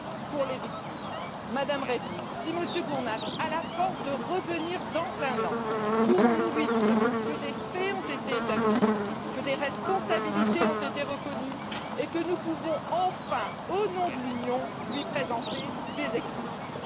pour les victimes. Madame Reding, si M. Kurnaz a la force de revenir dans un an, pourrons nous lui dire que des faits ont été établis, que des responsabilités ont été reconnues, et que nous pouvons, enfin, au nom de l'Union lui présenter des excuses?